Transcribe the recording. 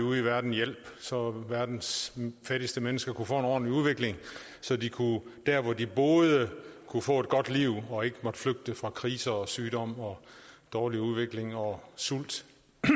ude i verden så verdens fattigste mennesker kunne få en ordentlig udvikling så de der hvor de boede kunne få et godt liv og ikke måtte flygte fra kriser og sygdom og dårlig udvikling og sult